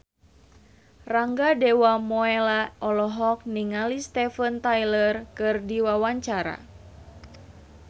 Rangga Dewamoela olohok ningali Steven Tyler keur diwawancara